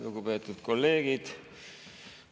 Lugupeetud kolleegid!